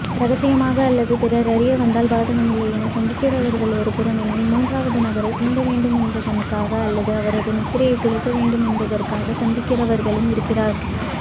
இரகசியமாக அல்லது பிறர் அறியவந்தால் பாதகமில்லை எனச்சந்திக்கிறவர்கள் ஒருபுறமெனில் மூன்றாவது நபரை சீண்டவேண்டுமென்பதாக அல்லது அவரது நித்திரையைக்குலைக்க வேண்டுமென்பதற்காகச் சந்திக்கிறவர்களுமிருக்கிறார்